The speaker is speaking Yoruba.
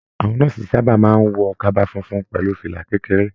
Àwọn nọ́ọ̀sì sábà máa n wọ kaba fúnfún pẹlú fìlà kékeré.